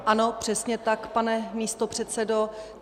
Ano, přesně tak, pane místopředsedo.